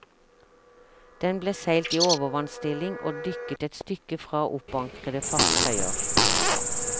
Den ble seilt i overvannsstilling og dykket et stykke fra oppankrede fartøyer.